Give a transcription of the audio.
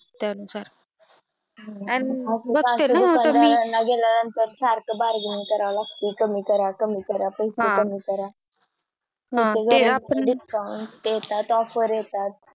त्या नुसार बाहेर सारखी Bargaining करावं लागते कमी करा कमी करा पैसे हम्म पैसे कमी करा हम्म ते आपण Discount ते त्यात Offer येतात त